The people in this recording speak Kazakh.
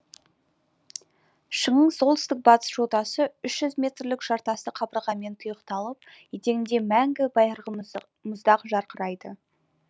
шыңның солтүстік батыс жотасы үш жүз метрлік жартасты қабырғамен тұйықталып етегінде мәңгі байырғы мұздақ жарқырайды